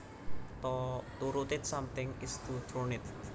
To rotate something is to turn it